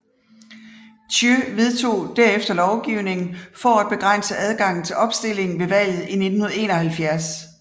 Thiệu vedtog derefter lovgivning for at begrænse adgangen til opstilling ved valget i 1971